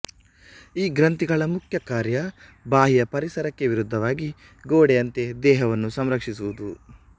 ಈ ಗ್ರಂಥಿಗಳ ಮುಖ್ಯ ಕಾರ್ಯ ಬಾಹ್ಯ ಪರಿಸರಕ್ಕೆ ವಿರುದ್ಧವಾಗಿ ಗೋಡೆಯಂತೆ ದೇಹವನ್ನು ಸಂರಕ್ಷಿಸುವುದು